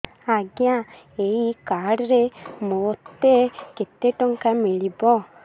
ଆଜ୍ଞା ଏଇ କାର୍ଡ ରେ ମୋତେ କେତେ ଟଙ୍କା ମିଳିବ